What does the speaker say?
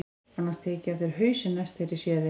Annars tek ég af þér hausinn næst þegar ég sé þig.